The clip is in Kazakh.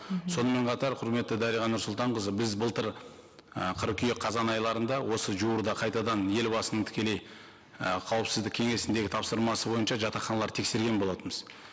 сонымен қатар құрметті дариға нұрсұлтанқызы біз былтыр і қыркүйек қазан айларында осы жуырда қайтадан елбасының тікелей і қауіпсіздік кеңесіндегі тапсырмасы бойынша жатақханаларды тексерген болатынбыз